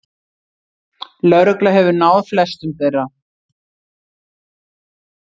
Lögregla hefur náð flestum þeirra